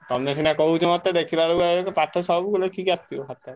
ତମେ ସିନା କହୁଛ ମତେ ଦେଖିଲାବେଳକୁ ପାଠ ସବୁ ଲେଖିକି ଆସିଥିବ ଖାତାରେ।